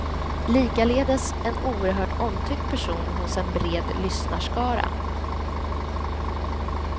Likaledes en oerhört omtyckt person hos en bred lyssnarskara.